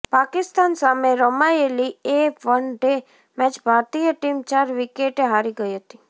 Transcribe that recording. પાકિસ્તાન સામે રમાયેલી એ વન ડે મેચ ભારતીય ટીમ ચાર વિકેટે હારી ગઈ હતી